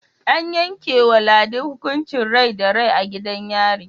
An yankewa ladi hukuncin Rai da Rai a gidan yari